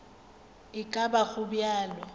e ka ba go bjalo